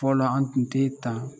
Fɔlɔ an tun tɛ tan